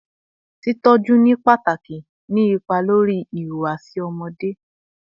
Titọjọ ni pataki ni ipa lori ihuwasi ọmọde